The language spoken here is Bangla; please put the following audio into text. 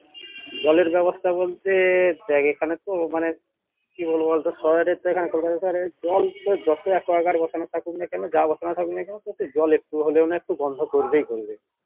জলের ব্যবস্থা বলতে দেখ এখানেতো মানে কি বলবো শহরেরতো জল তো বসানো থাকুক না কেন যা বসানো থাকুক না কেন ওতে জল একটু হলেও না একটু গন্ধ করবেই করবে